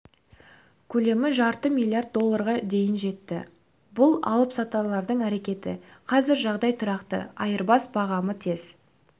көлемі жарты миллард долларға дейін жетті бұл алыпсатарлардың әрекеті қазір жағдай тұрақты айырбас бағамы тез